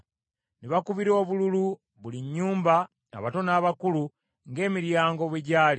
Ne bakubira obululu, buli nnyumba, abato n’abakulu, ng’emiryango bwe gyali.